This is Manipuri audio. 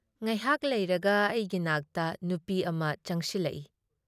ꯉꯍꯥꯥꯛ ꯂꯩꯔꯒ ꯑꯩꯒꯤ ꯅꯥꯛꯇ ꯅꯨꯄꯤ ꯑꯃ ꯆꯪꯁꯤꯜꯂꯛꯏ ꯫